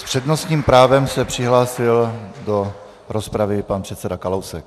S přednostním právem se přihlásil do rozpravy pan předseda Kalousek.